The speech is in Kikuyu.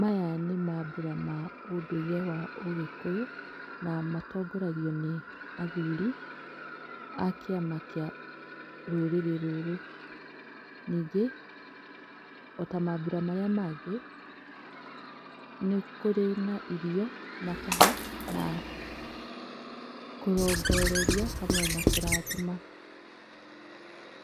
Maya nĩ mambura ma ũndũire wa ũgĩkũyũ na matongoragio nĩ athuri a kĩama kĩa rũrĩrĩ rũrũ, ningĩ o ta mambura marĩa mangĩ nĩ kũrĩ na irio mataha na kũrongoreria hamwe na kũrathima,